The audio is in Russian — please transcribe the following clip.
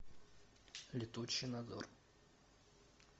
летучий надзор